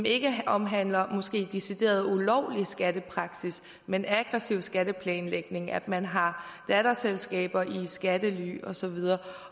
ikke omhandler decideret ulovlig skattepraksis men aggressiv skatteplanlægning at man har datterselskaber i skattely og så videre